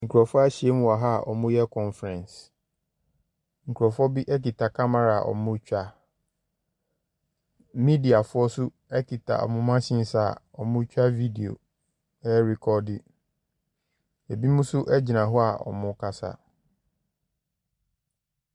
Nkurɔfoɔ ahyia mu wɔ ha a wɔreyɛ conference, nkurɔfoɔ bi kita camera a wɔretwa, mediafo nso kita wɔn machines a wɔretwa video. Binom nso gyina hɔ a wɔrekasa.